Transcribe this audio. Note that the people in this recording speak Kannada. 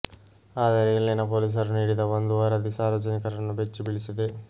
ಆದರೆ ಇಲ್ಲಿನ ಪೊಲೀಸರು ನೀಡಿದ ಒಂದು ವರದಿ ಸಾರ್ವಜನಿಕರನ್ನು ಬೆಚ್ಚಿ ಬೀಳಿಸಿದೆ